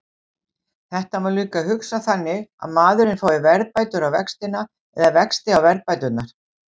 Þetta má líka hugsa þannig að maðurinn fái verðbætur á vextina eða vexti á verðbæturnar.